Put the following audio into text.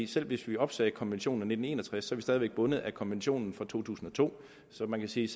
selv hvis vi opsagde konventionen af nitten en og tres er vi stadig væk bundet af konventionen fra to tusind og to så man kan sige